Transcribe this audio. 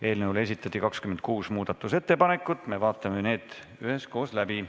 Eelnõu kohta esitati 26 muudatusettepanekut, me vaatame need üheksoos läbi.